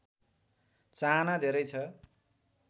चाहना धेरै छ